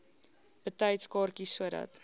betyds kaartjies sodat